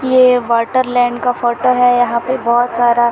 ये वाटरलैंड का फ़ोटो है यहाँ पे बहोत सारा--